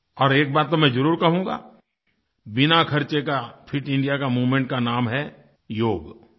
और एक बात तो मैं ज़रूर कहूँगा बिना ख़र्चे का फिट इंडिया के मूवमेंट का नाम है योग